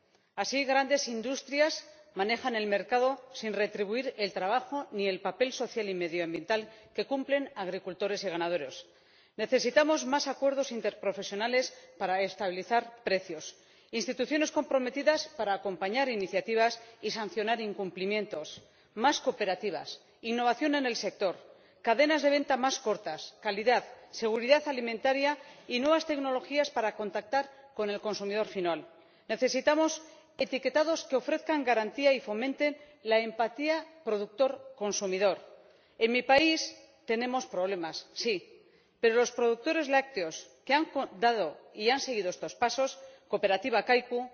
Actualmente, las grandes industrias manejan el mercado sin retribuir el trabajo ni el papel social y medioambiental que desempeñan agricultores y ganaderos. Necesitamos más acuerdos interprofesionales para estabilizar precios, instituciones comprometidas para acompañar iniciativas y sancionar incumplimientos, más cooperativas, innovación en el sector, cadenas de venta más cortas, calidad, seguridad alimentaria y nuevas tecnologías para contactar con el consumidor final. Necesitamos etiquetados que ofrezcan garantía y fomenten la empatía productor consumidor. En mi país tenemos problemas, sí, pero los productores lácteos que han dado y han seguido estos pasos —como la cooperativa Kaiku,